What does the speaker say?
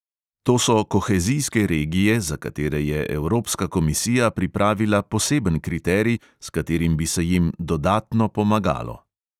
To so kohezijske regije, za katere je evropska komisija pripravila poseben kriterij, s katerim bi se jim dodatno pomagalo.